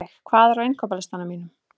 Ísveig, hvað er á innkaupalistanum mínum?